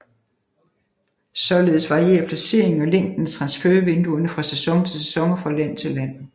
Således varierer placeringen og længden af transfervinduerne fra sæson til sæson og fra land til land